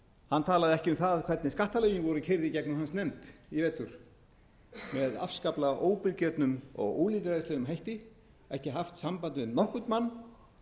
hann talaði ekki um það hvernig skattalögin voru keyrð í gegnum hans nefnd í vetur með afskaplega óbilgjörnum og ólýðræðislegum hætti ekki haft samband við nokkurn mann